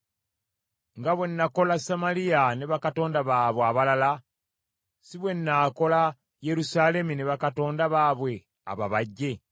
nga bwe nakola Samaliya ne bakatonda baabwe abalala si bwe nnaakola Yerusaalemi ne bakatonda baabwe ababajje?’ ”